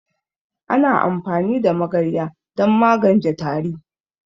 Ana amfani da magarya don maganje tari